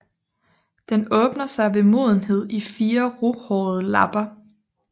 Den åbner sig ved modenhed i fire ruhårede lapper